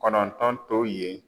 Kɔnɔntɔn to yen